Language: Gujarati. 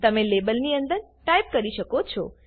તમે લેબલની અંદર ટાઈપ કરી શકો છો